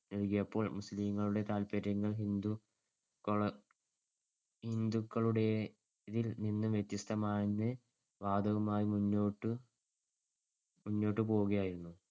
നൽകിയപ്പോൾ മുസ്ലീംങ്ങളുടെ താത്പര്യങ്ങൾ ഹിന്ദുക്കളു ഹിന്ദുക്കളുടേതിൽ നിന്ന് വ്യത്യസ്‍തമാണെന്നുള്ള വാദവുമായി മുന്നോട്ടു മുന്നോട്ടുപോവുകയായിരുന്നു.